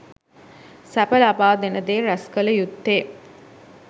සැප ලබාදෙන දේ රැස්කළ යුත්තේ